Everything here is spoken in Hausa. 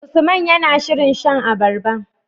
Usman yAna shirin shan abarba